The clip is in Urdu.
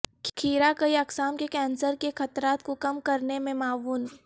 کھیرہ کئی اقسام کے کینسر کے خطرات کو کم کرنے میں معاون